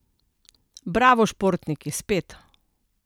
Bravo Športniki, spet.